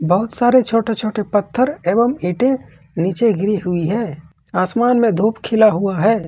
बहुत सारे छोटे छोटे पत्थर एवं ईंटें नीचे गिरी हुई है आसमान में धूप खिला हुआ है।